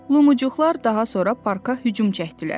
Lumucuqlar daha sonra parka hücum çəkdilər.